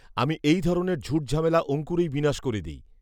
আমি এইধরণের ঝুটঝামেলা অংকুরেই বিনাশ করে দেই